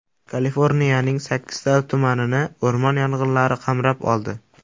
Kaliforniyaning sakkizta tumanini o‘rmon yong‘inlari qamrab oldi.